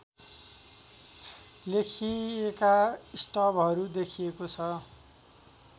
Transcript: लेखिएका स्टबहरू देखिएको छ